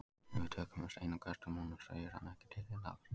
Ef við tökum upp stein og köstum honum sveigir hann ekki til hliðar.